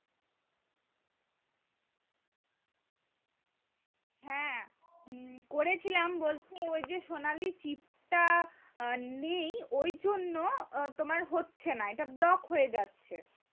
হ্যাঁ করেছিলাম বলতে ওই যে সোনালী নেই ওই জন্য তোমার হচ্ছে না এটা হয়ে যাচ্ছে